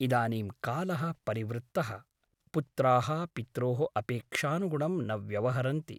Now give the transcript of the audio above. इदानीं कालः परिवृत्तः । पुत्राः पित्रोः अपेक्षानुगुणं न व्यवहरन्ति ।